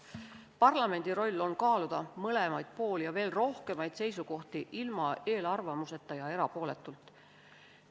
Parlamendi roll on kaaluda mõlemaid pooli ja veel rohkemaid seisukohti ilma eelarvamuseta ja erapooletult.